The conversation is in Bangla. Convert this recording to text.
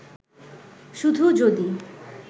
শুধু যদি